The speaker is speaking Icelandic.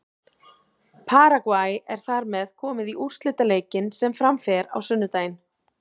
Paragvæ er þar með komið í úrslitaleikinn sem fram fer á sunnudaginn.